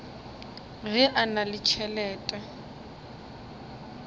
ge a na le tšhelete